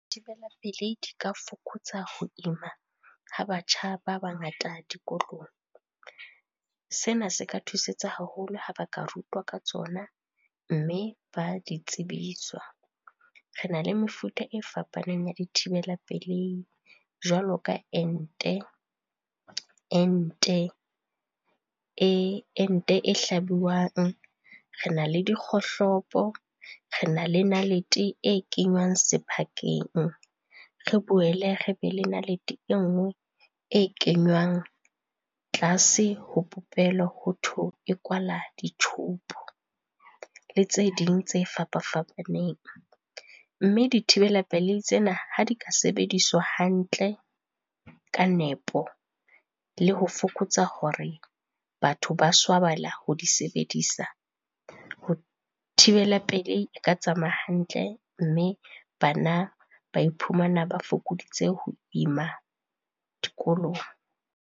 Dithibela pelei di ka fokotsa ho ima ha batjha ba bangata dikolong. Sena se ka thusetsa haholo ha ba ka rutwa ka tsona mme ba di tsebiswa. Re na le mefuta e fapaneng ya dithibela pelei jwalo ka ente e hlabuwang, re na le dikgohlopo, re na le nalete e kenywang sephakeng, re boele re be le nalete e nngwe e kenywang tlase ho popelo ho thwe e kwala di-tube le tse ding tse fapa-fapaneng. Mme dithibela pelei tsena ha di ka sebediswa hantle ka nepo le ho fokotsa hore, batho ba swabela ho di sebedisa. Ho thibela pelei e ka tsamaya hantle mme bana ba iphumana ba fokoditse ho ima dikolong.